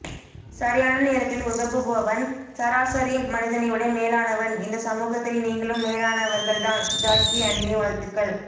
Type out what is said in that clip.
சரியான நேரத்தில் உதவுபவன் சாரசரி மனிதனைவிட மேலானவன் இந்த சமூகத்தில் நீங்களும் மேலானவர்கள் தான் ஜாக்கி அண்ணே வாழ்த்துக்கள்